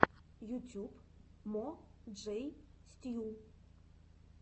ютюб мо джей стью